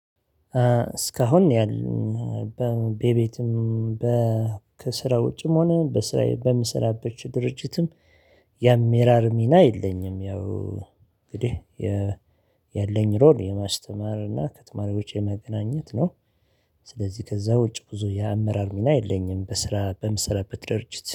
እስካሁን ያህል በቤትም በከሥራ ውጭም ሆነ በስራ በምሰራበት ድርጅትም የአመራር ሚና የለኝም። ያው እንግዲህ የማስተማር እና ከተማሬዎች የመገናኘት ነው። ስለዚህ ከዛ ውጭ ብዙ የአመራር ሚና የለኝም በስራ በምሰለበት ድርጅት